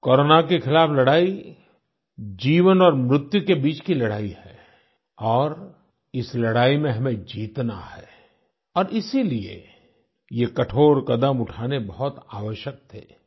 corona के खिलाफ़ लड़ाई जीवन और मृत्य के बीच की लड़ाई है और इस लड़ाई में हमें जीतना है और इसीलिए ये कठोर कदम उठाने बहुत आवश्यक थे